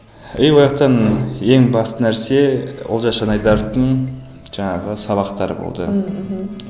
и ояқтан ең басты нәрсе олжас шынайдаровтың жаңағы сабақтары болды ммм мхм